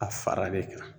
A fara de